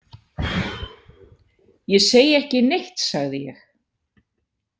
Ég segi ekki neitt, sagði ég.